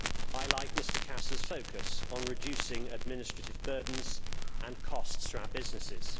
I like Mr Casa's focus on reducing administrative burdens and costs for our businesses.